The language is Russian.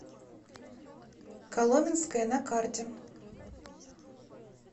коломенское на карте